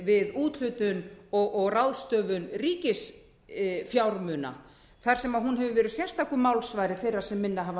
við úthlutun og ráðstöfun ríkisfjármuna þar sem hún hefur verið sérstakur málsvari þeirra sem minna hafa